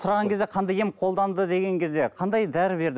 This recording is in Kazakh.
сұраған кезде қандай ем қолданды деген кезде қандай дәрі берді